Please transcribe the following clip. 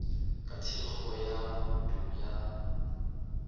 ka thekgo ya bouto ya